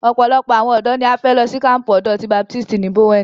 Ọ̀pọ̀lọpọ̀ àwọn ọ̀dọ́ ní a fẹ́ lọ sí kampu ọ̀dọ́ ti baptisi ní Bowen.